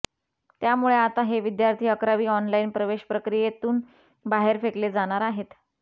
त्यामुळे आता हे विद्यार्थी अकरावी ऑनलाइन प्रवेश प्रक्रियेतून बाहेर फेकले जाणार आहेत